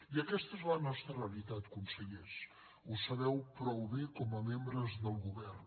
i aquesta és la nostra realitat consellers ho sabeu prou bé com a membres del govern